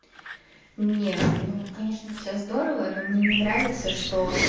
не ну конечно все здорово но мне не нравится что